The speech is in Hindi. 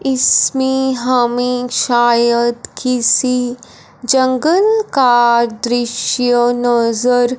इसमें हमे शायद किसी जंगल का दृश्य नजर--